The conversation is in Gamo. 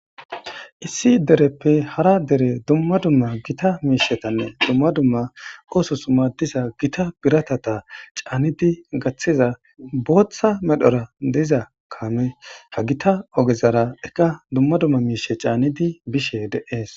issi dereppe hara dere dumma dumma gita miishetanne dumma dumma ooso summa diza gita biratata caannidi gaththiza booththa medhora diza kaame ha gita ogezara ekka dumma dumma miishe caanidi bishe deees